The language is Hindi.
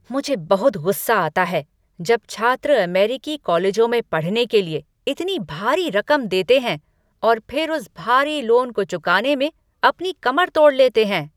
मुझे बहुत गुस्सा आता है जब छात्र अमेरिकी कॉलेजों में पढ़ने के लिए इतनी भारी रकम देते हैं और फिर उस भारी लोन को चुकाने में अपनी कमर तोड़ लेते हैं।